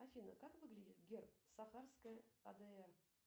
афина как выглядит герб сахарская адр